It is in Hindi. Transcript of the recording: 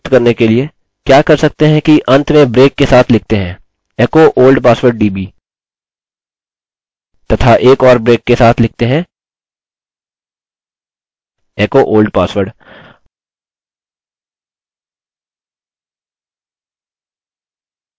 यहाँ हम दोषमुक्त करने के लिए क्या कर सकते हैं कि अन्त में ब्रेक के साथ लिखते हैं echo old password db तथा एक और ब्रेक के साथ लिखते हैं echo old password